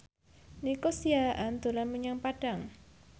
Nico Siahaan dolan menyang Padang